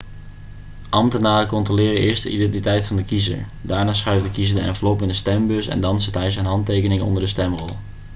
ambtenaren controleren eerst de identiteit van de kiezer daarna schuift de kiezer de envelop in de stembus en dan zet hij zijn handtekening onder de stemrol